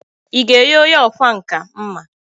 Ị ga-enye onye ọkwá nkà mma?